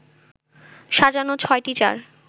সাজানো ৬টি চার